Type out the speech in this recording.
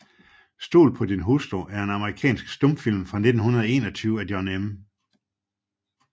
Stol på din hustru er en amerikansk stumfilm fra 1921 af John M